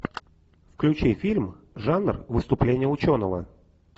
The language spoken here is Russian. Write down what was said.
включи фильм жанр выступление ученого